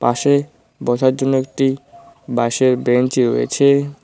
পাশে বসার জন্য একটি বাঁশের বেঞ্চি রয়েছে।